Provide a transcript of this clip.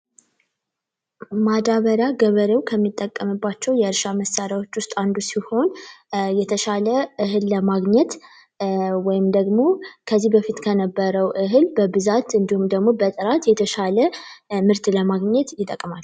ማዳበሪያ ገበሬው ከሚጠቀምባቸው መሳሪያዎች ውስጥ አንዱ ሲሆን የተሻለ እህል ለማግኘት ወይም ደግሞ ከዚህ በፊት ከነበረ በብዛት እንዲሁም ደግሞ የተሻለ ምርት ለማግኘት ይጠቅማል።